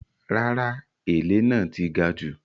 Rárá “èlé” náà ti gajù.